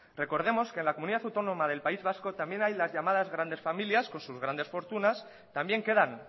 recordemos que en la comunidad autónoma del país vasco también hay las llamadas grandes familias con sus grandes fortunas también quedan